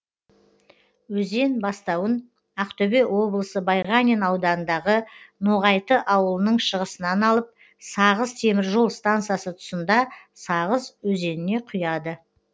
өзен бастауын ақтөбе облысы байғанин ауданындағы ноғайты аулының шығысынан алып сағыз темір жол стансасы тұсында сағыз өзеніне құяды